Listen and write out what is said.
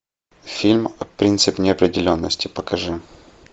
фильм принцип неопределенности покажи